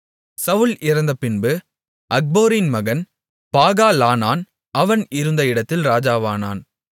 சவுல் இறந்தபின்பு அக்போரின் மகன் பாகாலானான் அவன் இருந்த இடத்தில் இராஜாவானான்